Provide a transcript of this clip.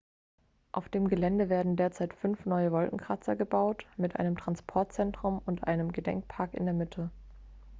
auf dem gelände werden derzeit fünf neue wolkenkratzer gebaut mit einem transportzentrum und einem gedenkpark in der mitte